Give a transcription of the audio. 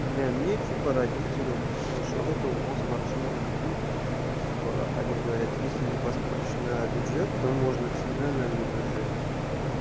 бля мне типа родители на счёт этого мозг вообще не ебут типа они говорят если не поступишь на бюджет то можно всегда на не бюджет